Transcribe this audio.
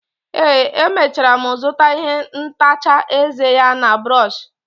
ee, emechara m zụta ihe ntacha eze ya na brọsh